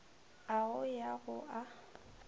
a go ya go a